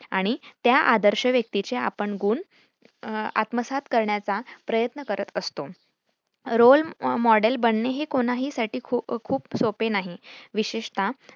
आणि त्या आदर्श व्यक्तीचे आपण गुण आत्मसात करण्याचा प्रयत्न करत असतो. role model बनणे हे कोणाहीसाठी खूप सोपे नाही विशेषतः